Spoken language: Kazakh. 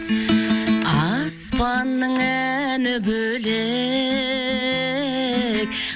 аспанның әні бөлек